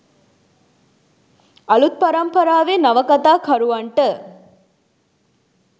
අලුත් පරම්පරාවේ නවකතාකරුවන්ට